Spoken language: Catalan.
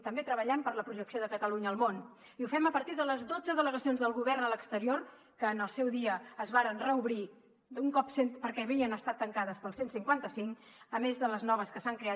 també treballem per la projecció de catalunya al món i ho fem a partir de les dotze delegacions del govern a l’exterior que en el seu dia es varen reobrir perquè havien estat tancades pel cent i cinquanta cinc a més de les noves que s’han creat